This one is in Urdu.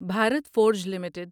Bharat Forge limited